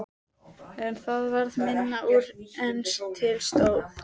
En það varð minna úr en til stóð.